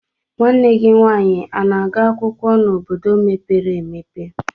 Nwanne gị nwaanyị ana-agụ akwụkwọ na obodo mepere emepe?